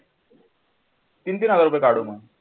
तीन तीन हजार रुपये काढू मग